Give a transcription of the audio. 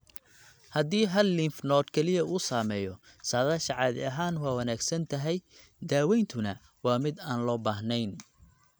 Haddii hal lymph node kaliya uu saameeyo, saadaasha caadi ahaan waa wanaagsan tahay daaweyntuna waa mid aan loo baahnayn.